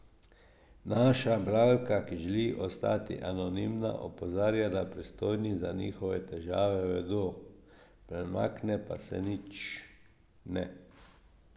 Naša bralka, ki želi ostati anonimna, opozarja, da pristojni za njihove težave vedo, premakne pa se nič ne.